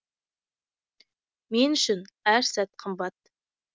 мен үшін әр сәт қымбат